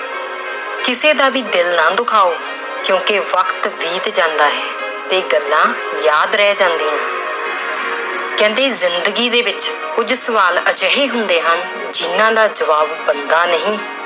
ਕਿਸੇ ਦਾ ਵੀ ਦਿਲ ਨਾ ਦੁਖਾਓ ਕਿਉਂਕਿ ਵਕਤ ਬੀਤ ਜਾਂਦਾ ਹੈ, ਤੇ ਗੱਲਾਂ ਯਾਦ ਰਹਿ ਜਾਂਦੀਆਂ ਕਹਿੰਦੇ ਜ਼ਿੰਦਗੀ ਦੇ ਵਿੱਚ ਕੁੱਝ ਸਵਾਲ ਅਜਿਹੇ ਹੁੰਦੇ ਹਨ ਜਿਹਨਾਂ ਦਾ ਜ਼ਵਾਬ ਬੰਦਾ ਨਹੀਂ